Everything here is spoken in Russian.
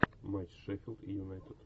матч шеффилд и юнайтед